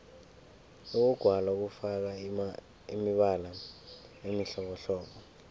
ukugwala kufaka imibala emihlobohlobo